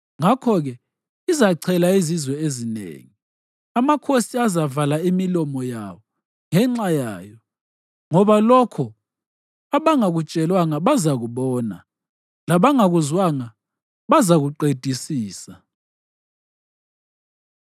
ngakho-ke izachela izizwe ezinengi, amakhosi azavala imilomo yawo ngenxa yayo. Ngoba lokho abangakutshelwanga bazakubona, labangakuzwanga, bazakuqedisisa.